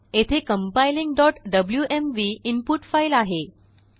येथेcompilingwmv input file आहे